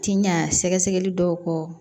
Ti ɲa sɛgɛsɛgɛli dɔw kɔ